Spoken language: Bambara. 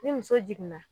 Ni muso jiginna